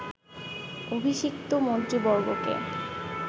অভিষিক্ত মন্ত্রীবর্গকে